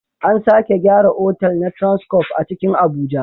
An sake gyara otal na transcof a cikin Abuja